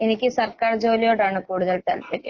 എനിക്ക് സർക്കാർ ജോലിയോടാണ് കൂടുതൽ താൽപര്യം.